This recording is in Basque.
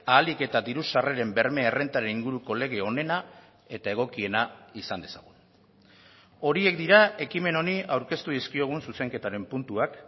ahalik eta diru sarreren berme errentaren inguruko lege onena eta egokiena izan dezagun horiek dira ekimen honi aurkeztu dizkiogun zuzenketaren puntuak